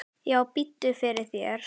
Já, biddu fyrir þér.